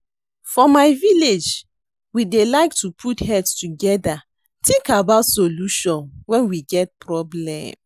For my village we dey like to put heads together think about solution wen we get problem